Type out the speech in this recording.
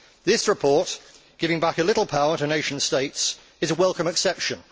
This report, giving back a little power to nation states, is a welcome exception.